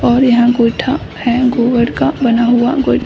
और यहाँ गौएठा है गोबर का बना हुआ।